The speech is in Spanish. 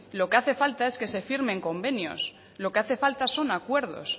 lo que hace falta es que se firmen convenios lo que hace falta son acuerdos